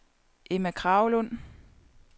Emma Kragelund